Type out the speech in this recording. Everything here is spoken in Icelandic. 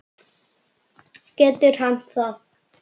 Getur hann það?